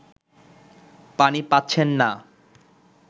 পানি পাচ্ছেন না